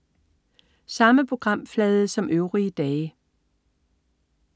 Samme programflade som øvrige dage